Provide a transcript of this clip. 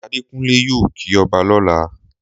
Adékunlé yóò kí ọba lọ́la